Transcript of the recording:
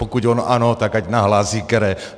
Pokud on ano, tak ať nahlásí které.